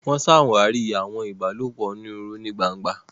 Wọn ṣàwarí awọn ìbálòpọ̀ onírúurú ní gbángba.